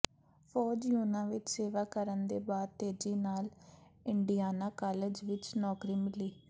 ਫੌਜ ਯੂਹੰਨਾ ਵਿਚ ਸੇਵਾ ਕਰਨ ਦੇ ਬਾਅਦ ਤੇਜ਼ੀ ਨਾਲ ਇੰਡੀਆਨਾ ਕਾਲਜ ਵਿਚ ਨੌਕਰੀ ਮਿਲੀ